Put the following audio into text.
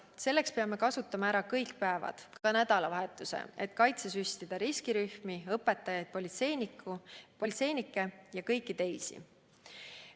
Selleks peame kasutama ära kõik päevad, ka nädalavahetused, et kaitsesüstida riskirühmi, õpetajaid, politseinikke ja kõiki teisi.